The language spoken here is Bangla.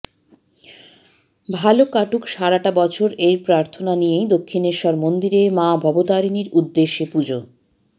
ভাল কাটুক সারাটা বছর এই প্রার্থনা নিয়েই দক্ষিণেশ্বর মন্দিরে মা ভবতারিণীর উদ্দেশ্যে পুজো